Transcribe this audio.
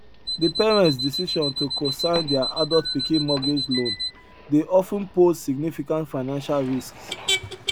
de parents decision to cosign their adult pikin mortgage loan dey of ten pose significant financial risks